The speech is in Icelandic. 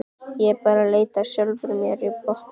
Ég er bara að leita að sjálfri mér á botninum.